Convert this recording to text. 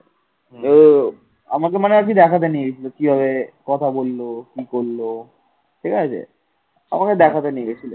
ঠিক আছে আমাকে দেখাতে নিয়ে গিয়েছিল